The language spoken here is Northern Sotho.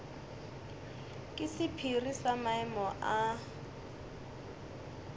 ke sephiri sa maemo a